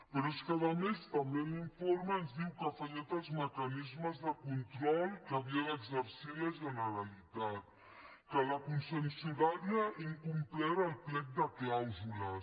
però és que a més també en l’informe ens diu que han fallat els mecanismes de control que havia d’exercir la generalitat que la concessionària ha incomplert el plec de clàusules